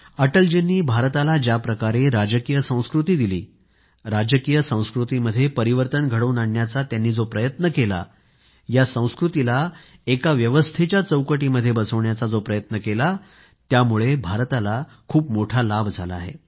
अटलजींनी भारताला ज्या प्रकारे राजकीय संस्कृती दिली राजकीय संस्कृतीमध्ये परिवर्तन घडवून आणण्याचा त्यांनी जो प्रयत्न केला या संस्कृतीला एका व्यवस्थेच्या चौकटीमध्ये बसवण्याचा जो प्रयत्न केला त्यामुळे भारताला खूप मोठा लाभ झाला आहे